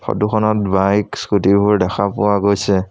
ফটোখনত বাইক স্কুটিবোৰ দেখা পোৱা গৈছে।